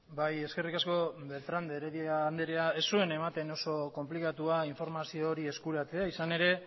bai eskerrik asko beltrán de heredia anderea ez zuen ematen oso konplikatua informazio hori eskuratzea izan ere